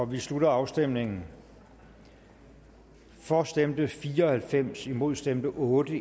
vi slutter afstemningen for stemte fire og halvfems imod stemte otte